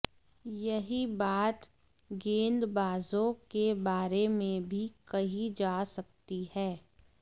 यही बात गेंदबाजों के बारे में भी कही जा सकती है